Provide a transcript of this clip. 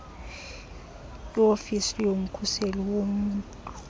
iofisi yomkhuseli woluntu